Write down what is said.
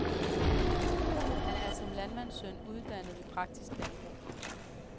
Han er som landmandssøn uddannet ved praktisk landbrug.